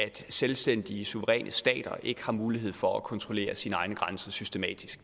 selvstændige suveræne stater ikke har mulighed for at kontrollere sine egne grænser systematisk